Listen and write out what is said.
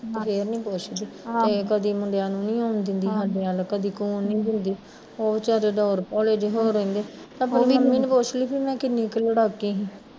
ਅਕਲ ਫੇਰ ਨੀ ਕੁਸ਼ ਵੀ ਤੇ ਕਦੀ ਮੁੰਡਿਆ ਨੂੰ ਨੀ ਆਉਣ ਦਿੰਦੀ ਸਾਡੇ ਵੱਲ ਕਦੀ ਖਲੋਣ ਨੀ ਦਿੰਦੀ ਉਹ ਵਿਚਾਰੇ ਰੋਲ ਭੋਰ ਹੋਏ ਰਹਿੰਦੇ ਆਪਣੀ ਮੰਮੀ ਨੂੰ ਪੁੱਛਲੀ ਵੀ ਮੈਂ ਕਿੰਨੀ ਕੁ ਲੜਾਕੀ ਸੀ